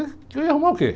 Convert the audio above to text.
Eu ia arrumar o quê?